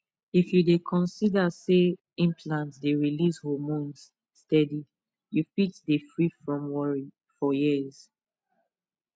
if you dey consider say implant dey release hormones steady you fit dey free from worry for years